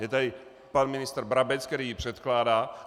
Je tady pan ministr Brabec, který ji předkládá.